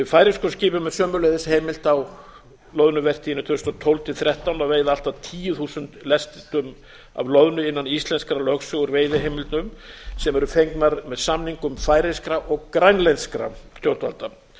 færeyskum skipum er sömuleiðis heimilt á loðnuvertíðinni tvö þúsund og tólf tvö þúsund og þrettán að veiða allt að tíu þúsund lestum af loðnu innan íslenskrar lögsögu úr veiðiheimildum sem fengnar eru með samningum færeyskra og grænlenskra stjórnvalda